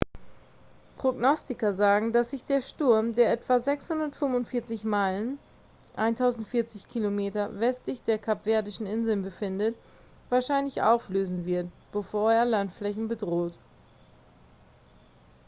prognostiker sagen dass sich der sturm der etwa 645 meilen 1040 km westlich der kapverdischen inseln befindet wahrscheinlich auflösen wird bevor er landflächen bedroht